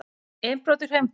Innbrot í Hraunbæ